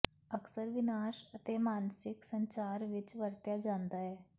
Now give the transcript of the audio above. ਅਕਸਰ ਵਿਨਾਸ਼ ਅਤੇ ਮਾਨਸਿਕ ਸੰਚਾਰ ਵਿੱਚ ਵਰਤਿਆ ਜਾਂਦਾ ਹੈ